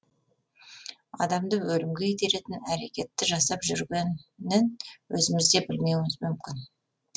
адамды өлімге итеретін әрекетті жасап жүр генін өзіміз де білмеуіміз мүмкін